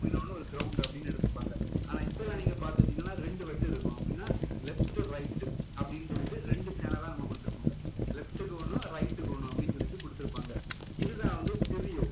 இன்னொண்ணு ஒரு ground அப்படின்னு எடுத்துப்பாங்க ஆனா இப்போல்லாம் நீங்க பாத்துக்கிட்டீங்கன்னா ரெண்டு வெட்டு இருக்கும் அப்படின்னா left right அப்படின்னு சொல்லிட்டு ரெண்டு channel லா நமக்கு கொடுத்திருப்பாங்க left க்கு ஒண்ணும் right க்கு ஒண்ணும் அப்படின்னு சொல்லிட்டு கொடுத்திருப்பாங்க இது தான் வந்து stereo